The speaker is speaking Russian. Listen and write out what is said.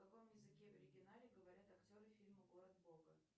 на каком языке в оригинале говорят актеры фильма город бога